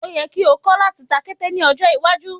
O yẹ́ ko kọ́ láti ta kété ní ọjọ́ iwájú.